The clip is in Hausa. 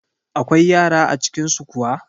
Akwai yara a cikin su kuwa?